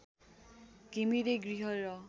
घिमिरे गृह र